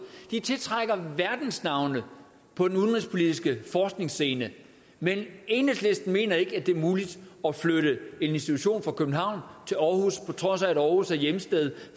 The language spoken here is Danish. de tiltrækker verdensnavne på den udenrigspolitiske forskningsscene men enhedslisten mener ikke det er muligt at flytte en institution fra københavn til aarhus på trods af at aarhus er hjemsted